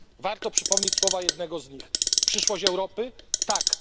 Warto przypomnieć słowa jednego z nich Przyszłość Europy tak....